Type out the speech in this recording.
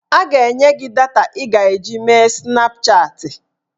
A ga-enye gị data ị ga-eji mee Snapchatị